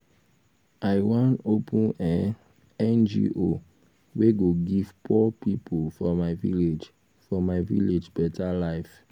i wan open um ngo wey go give poor pipo for my village for my village better um life.